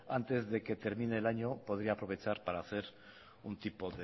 antes de que termine el año podría aprovechar para hacer un tipo